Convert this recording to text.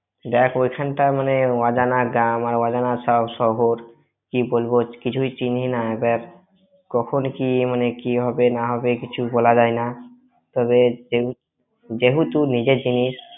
দেখ ওইখানটা মানে অজানা গ্রাম আর অজানা শহ~ শহ্‌ কী বলব কিছুই চিনিনা দেখ, কখন কী মানে কি হবে না হবে কিছু বলা যায় না তবে যেহেতু~ যেহেতু নিজের জিনিস,